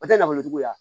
O tɛ nafolo juguya